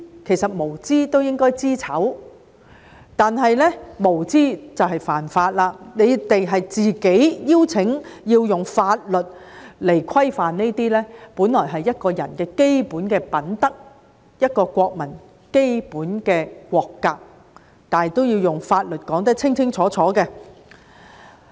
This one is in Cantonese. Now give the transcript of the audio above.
其實，他們無知都應該知醜，但這樣無知就是犯法，他們是自己"邀請"制定法律來規範這些本來是一個人的基本品德，一個國民的基本國格，但這樣也要用法律來說得清清楚楚。